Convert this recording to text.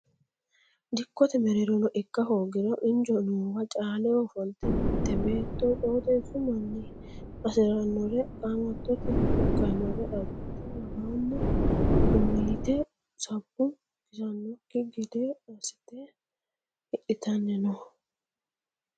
Dikkote mereerono ikka hoogiro injo noowa caaleho ofolte mite beetto qooxeesu manni hasiranore qamattote ikkanore abbite worooni doniya worte sabbu kisanokki gede assite hidhittanni no.